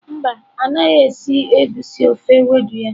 Mba, ọ naghị esi egusi ofe ewedu ya.